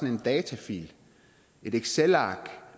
en datafil et excelark